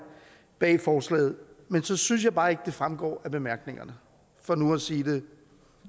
bag forslaget men så synes jeg bare ikke at det fremgår af bemærkningerne for nu at sige det